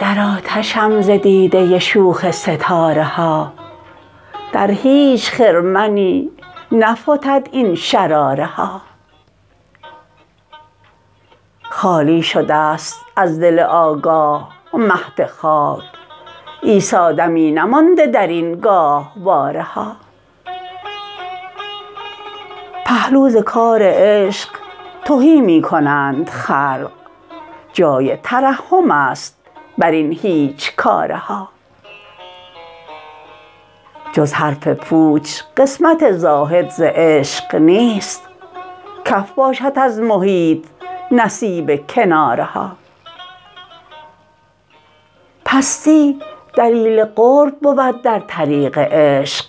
در آتشم ز دیده شوخ ستاره ها در هیچ خرمنی نفتد این شراره ها خالی شده است از دل آگاه مهد خاک عیسی دمی نمانده درین گاهواره ها پهلو ز کار عشق تهی می کنند خلق جای ترحم است بر این هیچکاره ها جز حرف پوچ قسمت زاهد ز عشق نیست کف باشد از محیط نصیب کناره ها پستی دلیل قرب بود در طریق عشق